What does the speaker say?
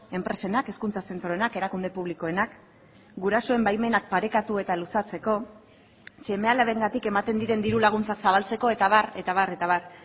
enpresenak hezkuntza zentroenak erakunde publikoenak gurasoen baimenak parekatu eta luzatzeko seme alabengatik ematen diren diru laguntza zabaltzeko eta abar eta abar eta abar